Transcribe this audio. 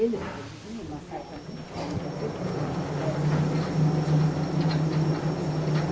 Eles produziam uma certa crítica, não quer dizer que a gente pudesse produzir, mas a gente via aquilo, né?